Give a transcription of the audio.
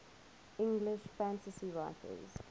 english fantasy writers